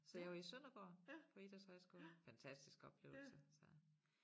Så jeg var i Sønderborg på idrætshøjskole. Fantastisk oplevelse